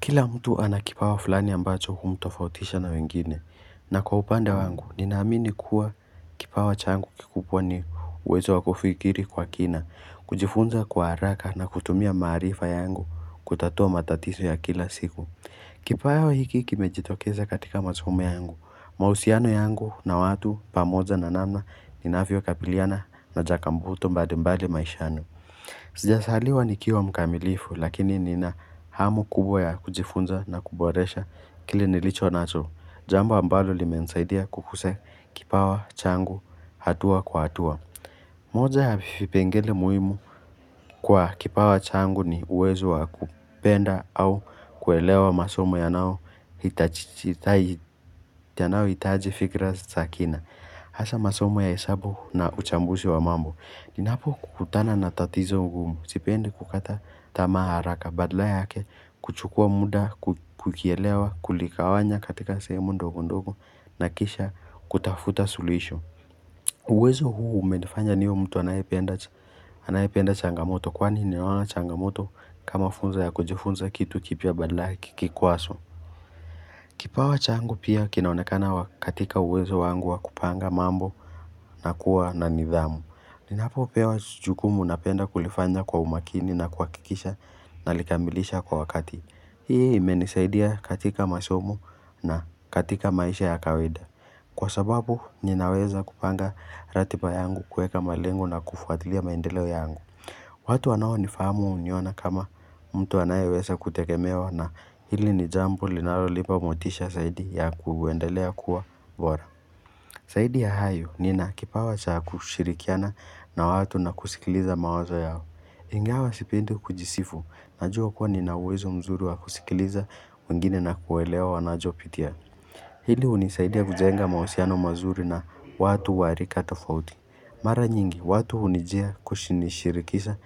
Kila mtu ana kipawa fulani ambacho humtofautisha na wengine, na kwa upande wangu, ninaamini kuwa kipawa changu kikubwa ni uwezo wakufikiri kwa kina, kujifunza kwa haraka na kutumia maarifa yangu kutatua matatizo ya kila siku. Kipawa hiki kimejitokeza katika masomo yangu, mahusiano yangu na watu pamoja na namna ninavyo kabiliana na changamoto mbalimbali maishani. Sijazaliwa nikiwa mkamilifu lakini nina hamu kubwa ya kujifunza na kuboresha kile nilichonacho Jambo ambalo limenisaidia kukuzq kipawa changu hatua kwa hatua moja ya vipengele muhimu kwa kipawa changu ni uwezo wa kupenda au kuelewa masomo ya nayo nayohitaji fikra za kina Hasaa masomo ya hesabu na uchambuzi wa mambo Ninapokutana na tatizo ngumu, sipendi kukata tamaa haraka, badala yake kuchukua muda, kukielewa, kuligawanya katika sehemu ndogo ndogo na kisha kutafuta suluhisho uwezo huu umenifanya niwe mtu anayependa changamoto kwani ninaona changamoto kama funzo ya kujifunza kitu kipya badala ya kikwazo Kipawa changu pia kinaonekana katika uwezo wangu wa kupanga mambo na kuwa na nidhamu Ninapopewa jukumu napenda kulifanya kwa umakini na kuhakikisha nalikamilisha kwa wakati. Hii imenisaidia katika masomo na katika maisha ya kawaida. Kwa sababu, ninaweza kupanga ratiba yangu kuweka malengo na kufuatilia maendeleo yangu. Watu wanaonifahamu huniona kama mtu anayeweza kutegemewa na hili ni jambo linalolipa motisha zaidi ya kuendelea kuwa bora. Zaidi ya hayo, nina kipawa cha kushirikiana na watu na kusikiliza mawazo yao. Ingawa sipendi kujisifu, najua kuwa ninauwezo mzuri wa kusikiliza, wengine na kuelewa wanachopitia. Hili hunisaidia kujenga mahusiano mazuri na watu wa rika tofauti. Mara nyingi, watu hunijia kushinirikisha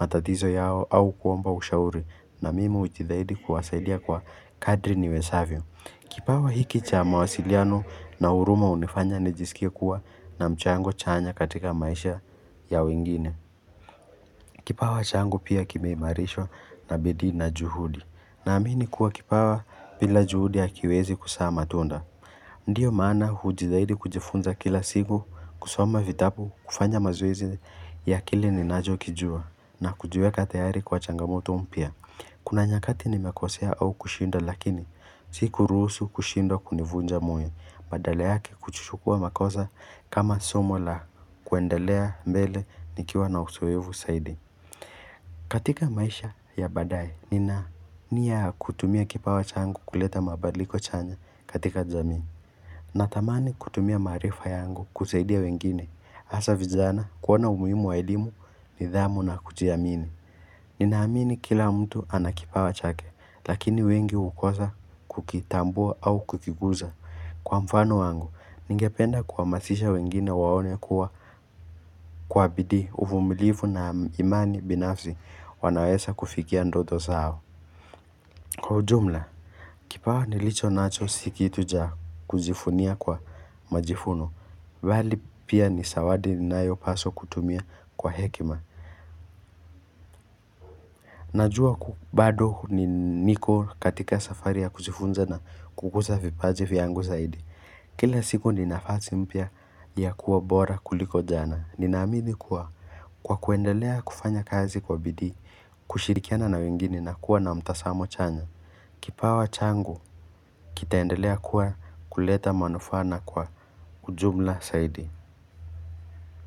matatizo yao au kuomba ushauri, na mimi hujitahidi kuwasaidia kwa kadri niwezavyo. Kipawa hiki cha mawasiliano na huruma hunifanya nijisikie kuwa na mchango chanya katika maisha ya wengine Kipawa changu pia kimeimarishwa na bidii na juhudi Naamini kuwa kipawa bila juhudi hakiwezi kuzaa matunda Ndiyo maana hujitahidi kujifunza kila siku kusoma vitabu kufanya mazoezi ya kile ninachokijua na kujiweka tayari kwa changamoto mpya Kuna nyakati nimekosea au kushinda lakini sikuruhusu kushindwa kunivunja moyo badala yake kuchukua makosa kama somo la kuendelea mbele nikiwa na uzoefu zaidi katika maisha ya baadaye nina nia ya kutumia kipawa changu kuleta mabadliko chanya katika jamii Natamani kutumia maarifa yangu kusaidia wengine hasaa vijana kuwa na umuhimu wa elimu nidhamu na kujiamini Ninaamini kila mtu ana kipawa chake, lakini wengi hukosa kukitambua au kukiguza. Kwa mfano wangu, ningependa kuhamasisha wengine waone kuwa kwa bidii uvumilivu na imani binafsi wanaweza kufikia ndoto zao. Kwa ujumla, kipawa nilichonacho si kitu cha kujivunia kwa majivuno. Bali pia ni zawadi ninayopaswa kutumia kwa hekima. Najua bado ni niko katika safari ya kujifunza na kukuza vipaji vyangu zaidi Kila siku ninafasi mpya ya kuwa bora kuliko jana Ninaamini kuwa kwa kuendelea kufanya kazi kwa bidii kushirikiana na wengine na kuwa na mtazamo chanya Kipawa changu kitaendelea kuwa kuleta manufaa na kwa ujumla zaidi.